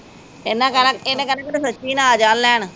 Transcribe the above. ਇਹਨਾ ਕਹਿਣਾ, ਇਨੇ ਕਹਿਣਾ ਕਿਤੇ ਸੱਚੀ ਨਾ ਆ ਜਾਣ ਲੈਣ